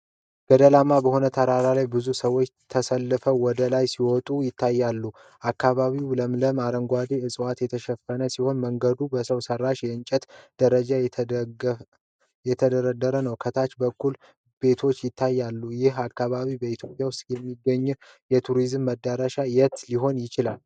ገደላማ በሆነ ተራራ ላይ ብዙ ሰዎች ተሰልፈው ወደ ላይ ሲወጡ ይታያሉ። አካባቢው በለምለም አረንጓዴ ዕፅዋት የተሸፈነ ሲሆን፣ መንገዱ በሰው ሰራሽ የእንጨት ደረጃዎች የተደገፈ ነው። ከታች በኩል ቤቶች ይታያሉ። ይህ አካባቢ በኢትዮጵያ ውስጥ ከሚገኙት የቱሪዝም መዳረሻዎች የትኛው ሊሆን ይችላል?